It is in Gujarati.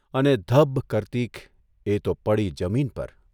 અને ધબ્બ કરતીક એ તો પડી જમીન પર !